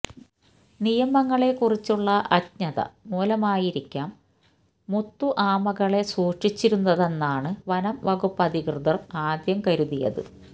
നിയമങ്ങളേക്കുറിച്ചുള്ള അജ്ഞത മൂലമായിരിക്കാം മുത്തു ആമകളെ സൂക്ഷിച്ചിരുന്നതെന്നാണ് വനംവകുപ്പധികൃതർ ആദ്യം കരുതിയത്